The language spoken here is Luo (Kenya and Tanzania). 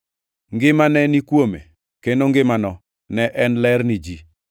Ngima ne ni kuome, kendo ngimano ne en ler ni ji.